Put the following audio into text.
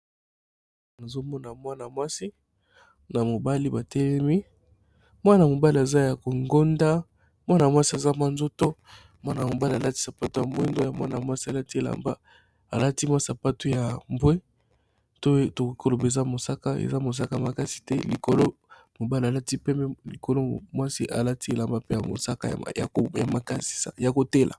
Nazomona mwana mwasi na mobali batelemi mwana-mobali aza ya kokonda ,mwana mwasi aza na nzoto mwana mobali alati sapato ya mwindo ya mwana mwasi alati elamba alati sapato ya mbwe tokoloba mosaka, eza mosaka makasi te likolo mobali alati pembe likolo mwasi alati elamba mpe ya mosakaya maya kotela.